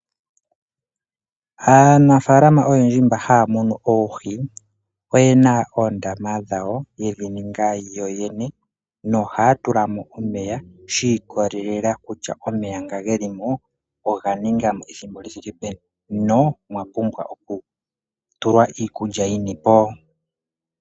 Aanafalama oyendji mba haya munu oohi oyena oondama dhawo yedhi ninga yoyene no haya tulamo omeya shi ikolelela kutya omeya nga geli mo oga ningamo ethimbo li thike peni no omwa pumbwa oku tulwa iikulya yini po.